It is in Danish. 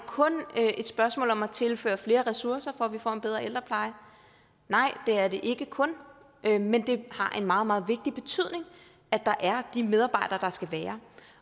kun et spørgsmål om at tilføre flere ressourcer for at vi får en bedre ældrepleje nej det er det ikke kun men men det har en meget meget stor betydning at der er de medarbejdere der skal være